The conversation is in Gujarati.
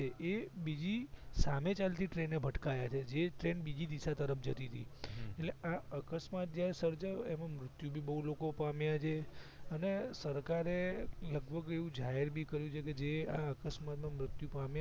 એ બીજી સામે ચાલતી ટ્રેને ભટકાયાછે જે ટ્રેન બીજી દિશા તરફ જતીતી હમ એટલે આ અકસ્માત જ્યાં સર્જાયો એમાં મુર્ત્યું બહુ પામ્યા અને સરકારે લગભગ એવું જાહેર કર્યું જે આ અકસ્માત માં મૃત્યુ પામ્યા છે